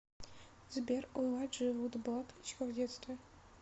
сбер у элайджи вуда была кличка в детстве